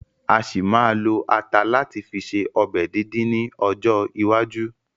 A ṣì ma ma lo ata láti fi ṣe ọbẹ̀ díndín ni ọjọ́ iwájú